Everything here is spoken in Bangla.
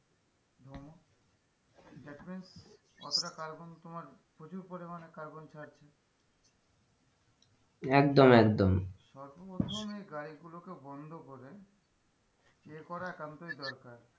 দেখবে কতটা carbon তোমার প্রচুর পরিমানে carbon ছাড়ছে একদম একদম সর্বপ্রথমে গাড়িগুলোকে বন্ধ করে check করা একান্তই দরকার।